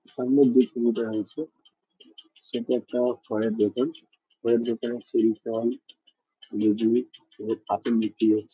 সামনে দেওয়া আছে। সেটা একটা ফলের দোকান। ফলের দোকানে চেরি ফল বিক্রি হচ্ছে।